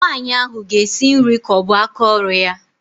Nwaanyị ahụ ga-esi nri ka ọ bụ aka ọrụ ya